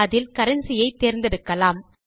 அதில் கரன்சி ஐ தேர்ந்தெடுக்கலாம்